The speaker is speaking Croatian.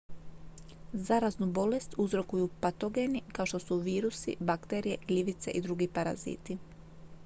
zaraznu bolest uzrokuju patogeni kao što su virusi bakterije gljivice i drugi paraziti